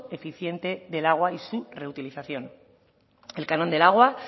eficiente del agua y su reutilización el canon del agua